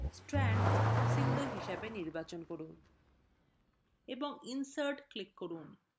strands single হিসাবে নির্বাচন করুন এবং insert বোতামে click করুন